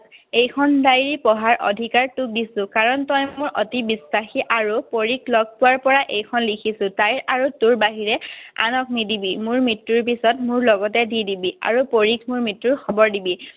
এইখন diary পঢ়াৰ অধিকাৰ মই তোক দিছো। কাৰণ তই মোৰ অতি বিশ্বাসী। আৰু পৰীক লগ পোৱাৰ পৰা এইখন লিখিছো। তাইৰ আৰু তোৰ বাহিৰে আনক নিদিবি। মোৰ মৃত্যুৰ পিছত মোৰ লগতে দি দিবি। আৰু পৰীক মোৰ মৃত্যুৰ খবৰ দিবি।